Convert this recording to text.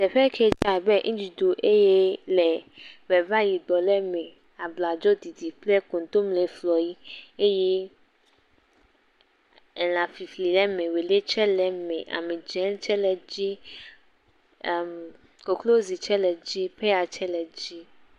Teƒe ke dzé abe nɖuɖu eye le ŋegba yibɔ ɖe me, abladziɖiɖi kple koŋtomle, flɔyi. Eye elãfifli le eme, wòlé tsɛ le eme, amidzẽ tsɛ le edzi, ɛm koklozi tsɛ le edzi, peya tsɛ le edzi.